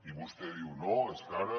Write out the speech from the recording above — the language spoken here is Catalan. i vostè diu no és que ara